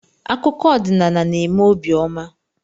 Akụkọ odinaala na-eme óbị ọma